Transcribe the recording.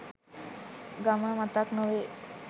ගම මතක් නොවේ.